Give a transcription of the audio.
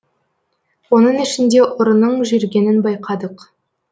оның ішінде ұрының жүргенін байқадық